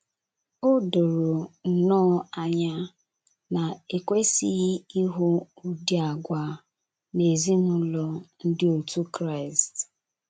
O doro nnọọ anya na e kwesịghị ịhụ ụdị àgwà a n’ezinụlọ ndị otú Kraịst.